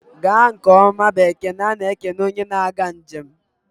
Gaa nke ọma bụ ekele a na-ekele onye na-aga njem.